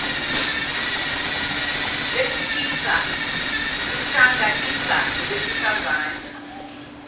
besilisa buhlanganisa nobesifazane